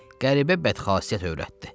Qəribə bəd xasiyyət övrətdi.